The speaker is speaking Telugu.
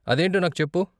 అదేంటో నాకు చెప్పు.